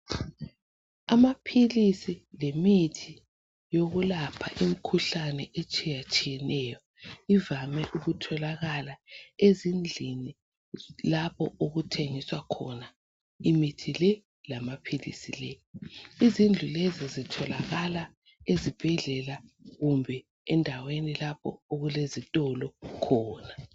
Amaphilisi lemithi yokulapha imikhuhlane etshiyatshiyeneyo ivame ukutholakala ezindlini lapho okuthengiswa khona imithi le lamaphilizi lawa, izindlu lezi zitholakala ezibhedlela kumbe endaweni lapho okulezitolo khona.